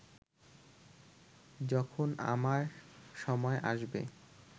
যখন আমার সময় আসবে